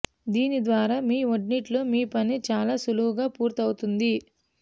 దీని ద్వారా మీ వంటింట్లో మీ పని చాలా సులువుగా పూర్తవుతుంది